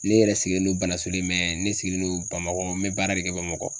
Ne yɛrɛ sigilen don banasolen ne sigilen don bamakɔ n be baara de kɛ bamakɔ.